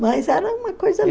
Mas era uma coisa